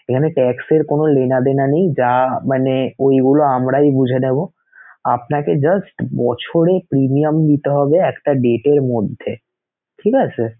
এখানে tax এর কোনো লেনাদেনা নেই যা মানে ঐগুলা আমরাই বুঝে নেবো আপনাকে just বছরে Premium দিতে হবে একটা date এর মধ্যে, ঠিক আছে sir?